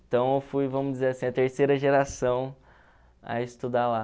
Então, eu fui, vamos dizer assim, a terceira geração a estudar lá.